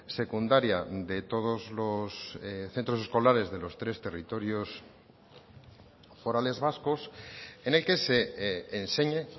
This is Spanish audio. secundaria de todos los centros escolares de los tres territorios forales vascos en el que se enseñe